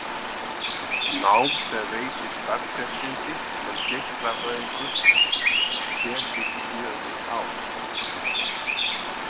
Nám sem veitir starfsréttindi sem geislafræðingur tekur fjögur ár.